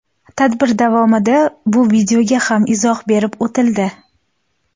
Tadbir davomida bu videoga ham izoh berib o‘tildi.